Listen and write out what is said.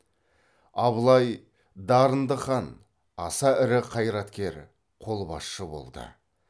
абылай дарынды хан аса ірі қайраткер қолбасшы болды